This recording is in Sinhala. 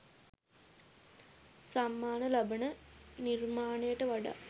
සම්මාන ලබන නිර්මාණයට වඩා